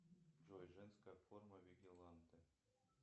джой женская форма вигиланте